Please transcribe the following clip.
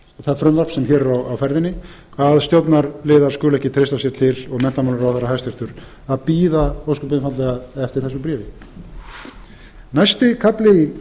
það frumvarp sem hér er á ferðinni að stjórnarliðar skuli ekki treysta sér til og menntamálaráðherra hæstvirtur að bíða ósköp einfaldlega eftir þessu bréfi næsti kafli í